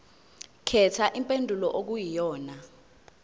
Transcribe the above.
khetha impendulo okuyiyona